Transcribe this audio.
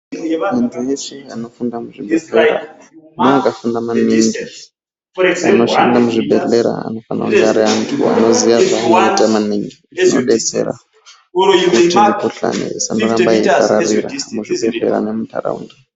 Muntu weshe anoshanda muzvibhedhlera ndeve vakafunda maningi anoshanda muzvibhedhlera anofana kunge Ari antu anoziya zvanoda kuita maningi zvinodetsera kuti mikuhlani isaramba ichipararira kuzvibhedhlera nemundaraunda.